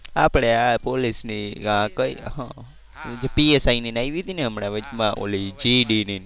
આપણે આ પોલીસ ની આ કઈ PSI ની ને આવી હતી ને હમણાં વચ માં ઓલી GDE ની.